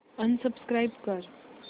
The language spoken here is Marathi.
अनसबस्क्राईब कर